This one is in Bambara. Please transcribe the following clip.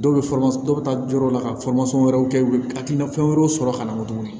Dɔw bɛ dɔ bɛ taa yɔrɔ la ka wɛrɛw kɛ a ti na fɛn wɛrɛw sɔrɔ ka na tuguni